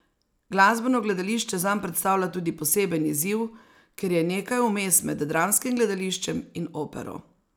Glasbeno gledališče zanj predstavlja tudi poseben izziv, ker je nekaj vmes med dramskim gledališčem in opero.